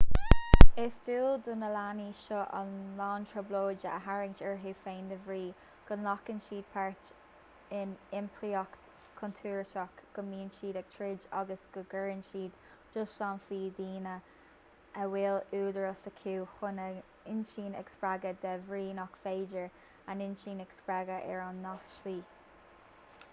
is dual do na leanaí seo a lán trioblóide a tharraingt orthu féin de bhrí go nglacann siad páirt in iompraíocht chontúirteach go mbíonn siad ag troid agus go gcuireann siad dúshlán faoi dhaoine a bhfuil údarás acu chun a n-inchinn a spreagadh de bhrí nach féidir a n-inchinn a spreagadh ar an ngnáthshlí